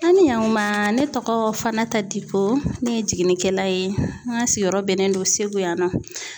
An ni yankuma ne tɔgɔ FANATA DIKO ne ye jiginnikɛla ye n ka sigiyɔrɔ bɛnnen don segu yan nɔ.